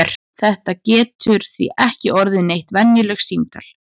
Þetta getur því ekki orðið neitt venjulegt símtal!